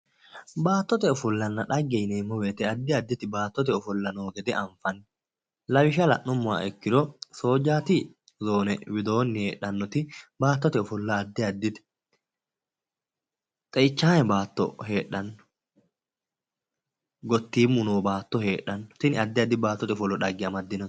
Baattote ofollanna dhagge yineemmo woyte addi additi baattote ofolla noo gede anfanni lawishsha la'nummoha ikkiro soojjaati zoone widoonni heedhannoti baattote ofolla addi addite xeichaame baatto heedhanno gottiimu noo baatto heedhanno tini addi addi baattote ofollo dhagge afidhino